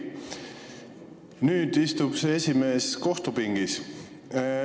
Nüüd istub see esimees kohtupingis.